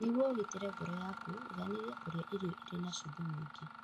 Nĩguo ũgitĩre ngoro yaku, igaanĩria kũrĩa irio irĩ na cumbĩ mũingĩ.